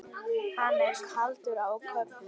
Hann er kaldur á köflum.